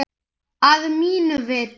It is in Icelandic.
Að mínu viti.